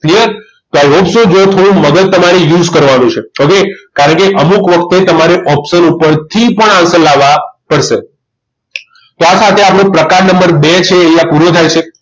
Clear તો i hope so જો થોડું મગજ તમારે use કરવાનું છે okay કારણ કે અમુક વખતે તમારે option ઉપરથી પણ answer લાવવા પડશે તો આ સાથે આપણે પ્રકાર નંબર બે છે એ અહીંયા પૂરો થાય છે